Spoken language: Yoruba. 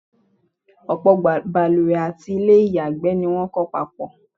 ọ̀pọ̀̀ baluwẹ̀ àti ilẹ́ ìyàgbẹ́ ni wọ́n kọ́ papọ̀.